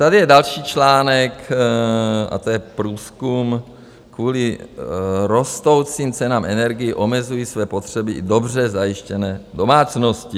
Tady je další článek, a to je průzkum Kvůli rostoucím cenám energií omezují své potřeby i dobře zajištěné domácnosti.